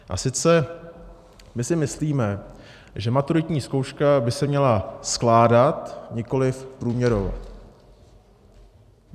A sice, my si myslíme, že maturitní zkouška by se měla skládat, nikoliv průměrovat.